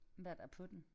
Hvad der på den?